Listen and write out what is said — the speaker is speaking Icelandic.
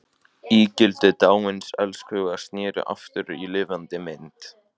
Ígildi dáins elskhuga sneri aftur í lifandi mynd.